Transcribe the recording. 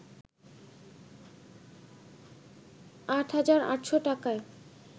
৮হাজার ৮শ’ টাকায়